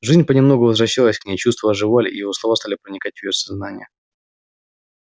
жизнь понемногу возвращалась к ней чувства оживали и его слова стали проникать в её сознание